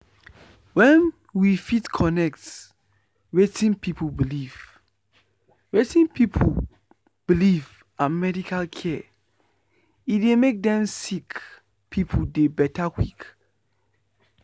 wen we fit connect wetin pipu believe wetin pipu believe and medical care e dey make dem sick pipu dey beta quick quick.